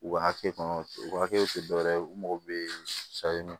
U ka hakɛ kɔnɔ u ka hakɛw te dɔ wɛrɛ ye u mago bɛ